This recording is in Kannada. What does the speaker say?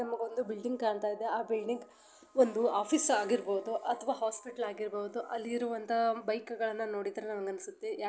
ನಮಗೊಂದು ಬಿಲ್ಡಿಂಗ್ ಕಾಂತಾಯಿದೆ ಆ ಬಿಲ್ಡಿಂಗ್ ಒಂದು ಆಫೀಸ್ ಆಗಿರಬಹುದು ಅಥವಾ ಹಾಸ್ಪಿಟಲ್ ಆಗಿರ್ಬಹುದು ಅಲ್ಲಿರುವಂಥ ಬೈಕ್ಗಳ್ಳನ ನೋಡಿದ್ರೆ ನನಗ ಅನ್ಸುತ್ತೆ.